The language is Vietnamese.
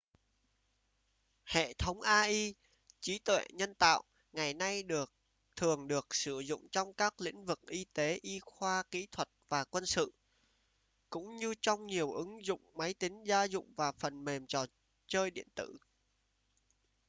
hệ thống ai trí tuệ nhân tạo ngày nay thường được sử dụng trong các lĩnh vực kinh tế y khoa kỹ thuật và quân sự cũng như trong nhiều ứng dụng máy tính gia dụng và phần mềm trò chơi điện tử